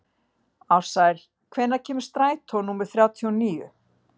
Ársæl, hvenær kemur strætó númer þrjátíu og níu?